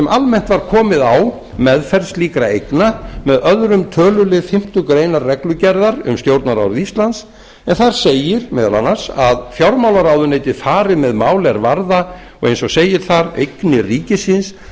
almennt var komið á meðferð slíkra eigna með öðrum tölulið fimmtu grein reglugerðar um stjórnarráð íslands en þar segir meðal annars að fjármálaráðuneytið fari með mál er varða eins og segir þar eignir ríkisins